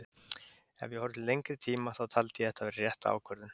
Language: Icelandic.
Ef ég horfi til lengri tíma þá taldi ég þetta vera rétta ákvörðun.